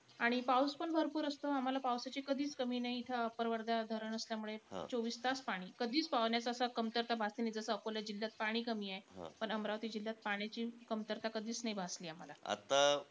आणि पाऊसपण भरपूर असतो. आम्हाला पावसाची कधीचं कमी नाई. इथं अप्पर वर्धा धरण असल्यामुळे , चोवीस तास पाणी. कधीचं पाण्याची असं कमतरता भासली नाई. जसं, अकोला जिल्ह्यात पाणी कमीये, पण अमरावती जिल्ह्यात पाण्याची कमतरता कधीचं नाई भासली आम्हाला .